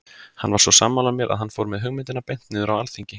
Hann var svo sammála mér að hann fór með hugmyndina beint niður á alþingi.